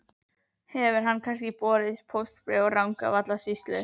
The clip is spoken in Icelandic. Hefur kannski borist póstbréf úr Rangárvallasýslu?